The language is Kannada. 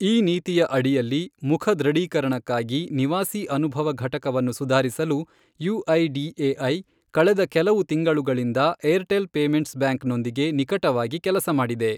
ಈ ನೀತಿಯ ಅಡಿಯಲ್ಲಿ, ಮುಖ ದೃಢೀಕರಣಕ್ಕಾಗಿ ನಿವಾಸಿ ಅನುಭವ ಘಟಕವನ್ನು ಸುಧಾರಿಸಲು ಯುಐಡಿಎಐ ಕಳೆದ ಕೆಲವು ತಿಂಗಳುಗಳಿಂದ ಏರ್ಟೆಲ್ ಪೇಮೆಂಟ್ಸ್ ಬ್ಯಾಂಕ್ ನೊಂದಿಗೆ ನಿಕಟವಾಗಿ ಕೆಲಸ ಮಾಡಿದೆ.